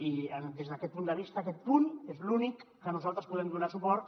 i des d’aquest punt de vista aquest punt és l’únic que nosaltres podem donar hi suport